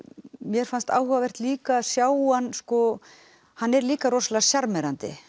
mér fannst áhugavert líka að sjá hann hann er líka rosalega sjarmerandi